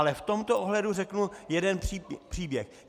Ale v tomto ohledu řeknu jeden příběh.